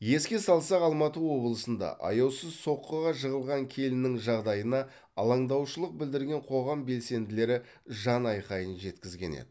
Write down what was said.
еске салсақ алматы облысында аяусыз соққыға жығылған келіннің жағдайына алаңдаушылық білдірген қоғам белсенділері жанайқайын жеткізген еді